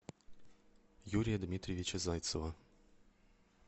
юрия дмитриевича зайцева